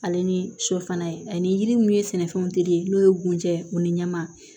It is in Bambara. Ale ni shɔ fana ye ani yiri min ye sɛnɛfɛnw teli ye n'o ye bunja u ni ɲaman